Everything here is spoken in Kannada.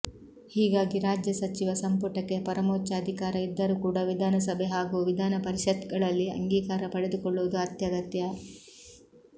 ಹೀಗಾಗಿ ರಾಜ್ಯ ಸಚಿವ ಸಂಪುಟಕ್ಕೆ ಪರಮೋಚ್ಚ ಅಧಿಕಾರ ಇದ್ದರೂ ಕೂಡ ವಿಧಾನಸಭೆ ಹಾಗೂ ವಿಧಾನ ಪರಿಷತ್ಗಳಲ್ಲಿ ಅಂಗೀಕಾರ ಪಡೆದುಕೊಳ್ಳುವುದು ಅತ್ಯಗತ್ಯ